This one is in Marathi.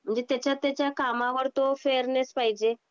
जे त्याच्या त्याच्या कामावर तो फेअरनेस पाहिजे.